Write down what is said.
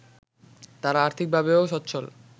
তারা আর্থিকভাবেও স্বচ্ছল